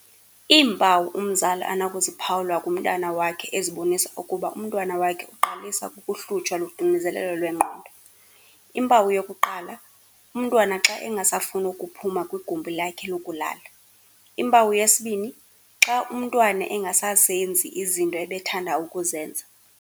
Iimpawu umzali anokuziphawula kumntana wakhe ezibonisa ukuba umntwana wakhe uqalisa kukuhlutsha luxinzelelo lwengqondo, impawu yokuqala, umntwana xa engasafuni ukuphuma kwigumbi lakhe lokulala. Impawu yesibini, xa umntwana engasazenzi izinto ebethanda ukuzenza.